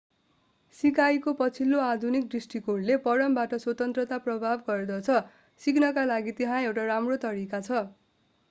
सिकाइको पछिल्लो आधुनिक दृष्टिकोणले परमबाट स्वतन्त्रता प्रस्ताव गर्दछ सिक्नका लागि त्यहाँ एउटा राम्रो तरिका छ